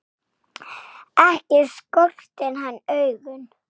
Ekki skortir hann augun.